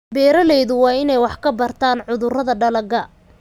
Beeraleydu waa inay wax ka bartaan cudurrada dalagga.